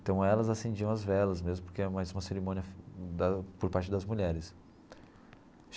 Então elas acendiam as velas mesmo, porque era mais uma cerimônia da por parte das mulheres.